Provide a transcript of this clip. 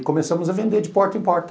E começamos a vender de porta em porta.